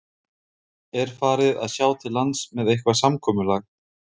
Er farið að sjá til lands með eitthvað samkomulag?